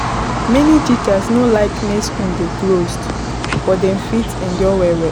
many teachers no like make school dey closed but dem fit don endure well well